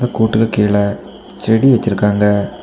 கூட்டுக்கு கீழ செடி வெச்சிருக்காங்க.